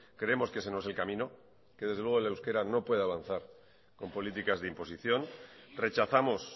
creemos que ese no es el camino que desde luego el euskera no puede avanzar con políticas de imposición rechazamos